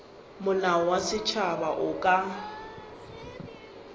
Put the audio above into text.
molao wa setšhaba o ka